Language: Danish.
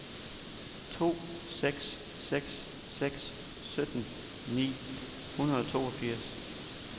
to seks seks seks sytten ni hundrede og toogfirs